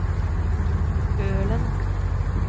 Ølen